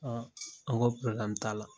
An an ko t'a la